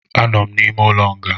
Anọ m n'ụlọ nga